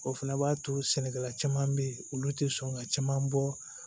O fana b'a to sɛnɛkɛla caman bɛ yen olu tɛ sɔn ka caman bɔ